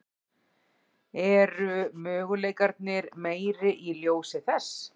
Eru möguleikarnir meiri í ljósi þess?